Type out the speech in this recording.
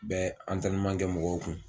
Bɛ kɛ mɔgɔw kun